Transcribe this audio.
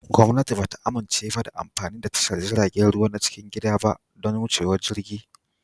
Gwamnati ba ta amince da amfani da tashar jiragen ruwa na cikin gida ba don wucewar jirgi